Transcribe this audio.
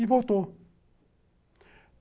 E voltou.